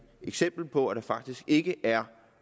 eksempel på at der faktisk ikke er